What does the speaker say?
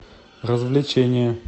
развлечения